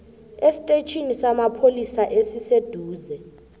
estetjhini samapholisa esiseduze